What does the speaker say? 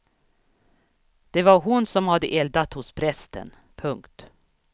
Det var hon som hade eldat hos prästen. punkt